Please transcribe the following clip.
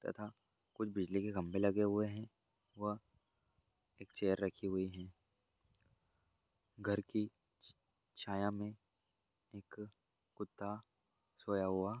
तथा कुछ बिजली के खम्भे लगे हुए हैं व एक चेयर रखी हुई है। घर की छाया में एक कुत्ता सोया हुआ --